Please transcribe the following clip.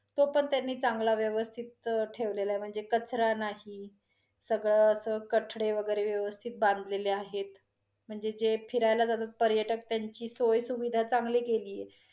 तो पण त्यांनी चांगला व्यवस्थित ठेवलेला आहे, म्हणजे कचरा नाही, सगळ असं कठडे वैगरे व्यवस्थित बांधलेले आहेत. म्हणजे जे फिरायला जातात पर्यटक त्यांची सोयसुविधा चांगली केली आहे